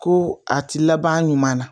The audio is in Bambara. Ko a ti laban ɲuman na